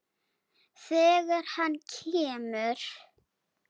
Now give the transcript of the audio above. Þegar hann kemur.